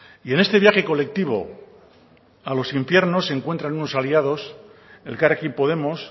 y en este viaje colectivo a los infiernos se encuentran unos aliados elkarrekin podemos